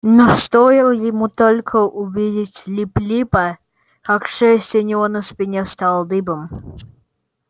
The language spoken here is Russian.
но стоило ему только увидеть лип липа как шерсть у него на спине встала дыбом